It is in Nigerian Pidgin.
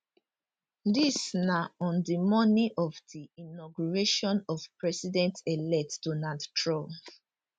dis na on di morning of di inauguration of presidentelect donald trump